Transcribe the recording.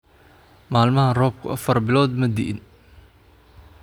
Maalmahan roobku afar bilood ma di’in